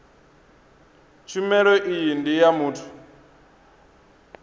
tshumelo iyi ndi ya muthu